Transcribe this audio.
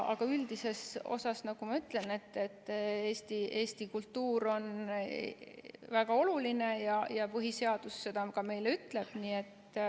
Aga üldises osas on Eesti kultuur väga oluline ja põhiseadus seda ka meile ütleb.